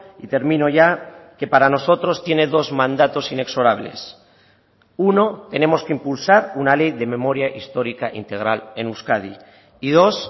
y termino ya que para nosotros tiene dos mandatos inexorables uno tenemos que impulsar una ley de memoria histórica integral en euskadi y dos